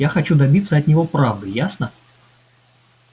я хочу добиться от него правды ясно